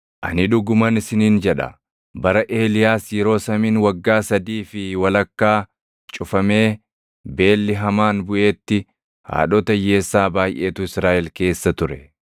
Ani dhuguman isiniin jedha; bara Eeliyaas yeroo samiin waggaa sadii fi walakkaa cufamee beelli hamaan buʼeetti haadhota hiyyeessaa baayʼeetu Israaʼel keessa ture.